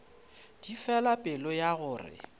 di fela pelo ya gore